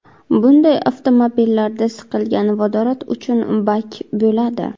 Bunday avtomobillarda siqilgan vodorod uchun bak bo‘ladi.